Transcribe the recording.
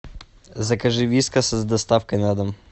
закажи вискас с доставкой на дом